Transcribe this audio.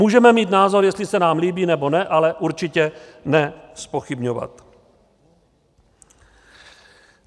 Můžeme mít názor, jestli se nám líbí, nebo ne, ale určitě ne zpochybňovat.